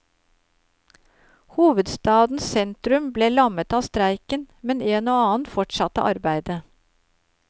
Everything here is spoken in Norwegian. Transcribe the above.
Hovedstadens sentrum ble lammet av streiken, men en og annen fortsatte arbeidet.